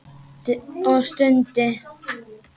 Og stundi.